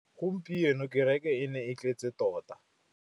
Gompieno kêrêkê e ne e tletse tota.